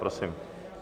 Prosím.